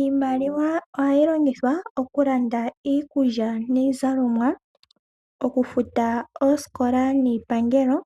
Iimaliwa ohayi longithwa okulanda iikulya niizalomwa, okufuta oosikola niipangelo,